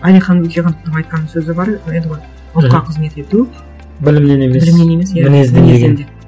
әлихан бөкейхановтың айтқан сөзі бар еді ғой ұлтқа қызмет ету білімнен емес білімнен емес иә мінезден деген